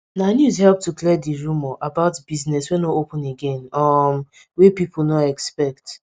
na news help to clear di rumour about business wey nor open again um wey pipo nor expect